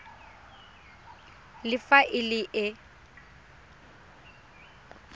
le fa e le e